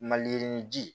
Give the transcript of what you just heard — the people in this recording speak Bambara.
Maliyirini ji